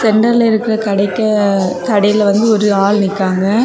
சென்டர்ல இருக்கிற கடைக்க கடையில வந்து ஒரு ஆள் நிக்காங்க.